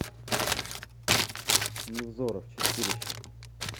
невзоров чистилище